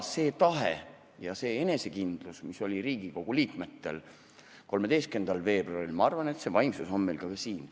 See tahe ja see enesekindlus, mis oli Riigikogu liikmetel 13. veebruaril, ma arvan, see vaimsus on meil veel siin.